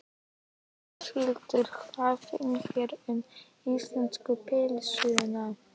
Þórhildur: Hvað finnst þér um íslensku pylsuna?